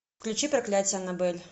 включи проклятие аннабель